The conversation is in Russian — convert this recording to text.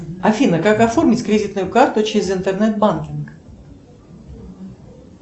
афина как оформить кредитную карту через интернет банкинг